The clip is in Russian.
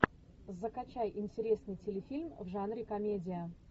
закачай интересный телефильм в жанре комедия